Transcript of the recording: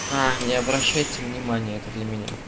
а не обращайте внимания это для меня